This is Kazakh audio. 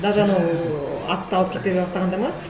даже анау атты алып кете бастағанда ма